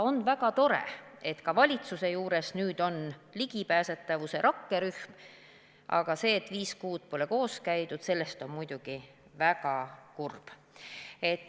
On väga tore, et ka valitsuse juures on nüüd ligipääsetavuse rakkerühm, aga see, et viis kuud pole koos käidud, on muidugi väga kurb.